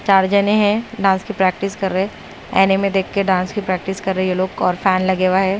चार जने है डांस की प्रैक्टिस कर रहे अनिमे देखके डांस की प्रैक्टिस कर रहे ये लोग को और फैन लगे हुआ है।